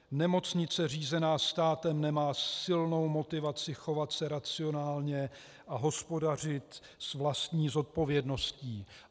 Nemocnice řízená státem nemá silnou motivaci chovat se racionálně a hospodařit s vlastní zodpovědností.